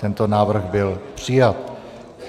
Tento návrh byl přijat.